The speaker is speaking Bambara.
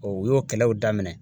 u y'o kɛlɛw daminɛ